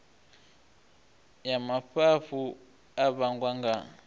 ya mafhafhu a vhangwa nga